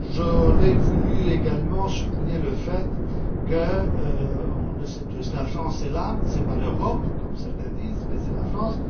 J'aurais voulu également souligner le fait que, on le sait tous, la France est là ce n'est pas l'Europe, comme certains le disent, mais c'est la France.